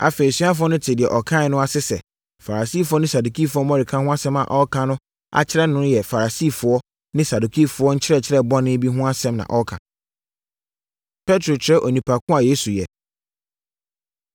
Afei, asuafoɔ no tee deɛ ɔkaeɛ no ase sɛ, Farisifoɔ ne Sadukifoɔ mmɔreka ho asɛm a ɔreka akyerɛ no yɛ Farisifoɔ ne Sadukifoɔ nkyerɛkyerɛ bɔne bi no ho asɛm na ɔreka. Petro Kyerɛ Onipa Ko A Yesu Yɛ